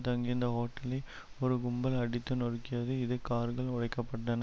தங்கியிருந்த ஹோட்டலை ஒரு கும்பல் அடித்து நொறுக்கியது இதில் கார்கள் உடைக்கப்பட்டன